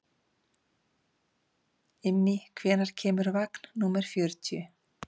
Immý, hvenær kemur vagn númer fjörutíu?